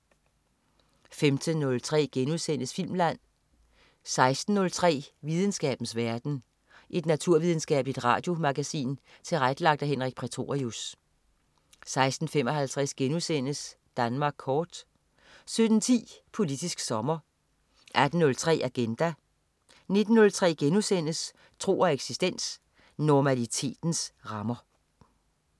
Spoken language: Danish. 15.03 Filmland* 16.03 Videnskabens verden. Et naturvidenskabeligt radiomagasin tilrettelagt af Henrik Prætorius 16.55 Danmark kort* 17.10 Politisk sommer 18.03 Agenda 19.03 Tro og eksistens. Normalitetens rammer*